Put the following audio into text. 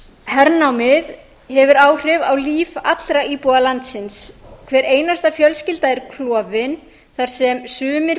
hernámið hefur áhrif á líf allra íbúa landsins hver einasta fjölskylda er klofin þar sem sumir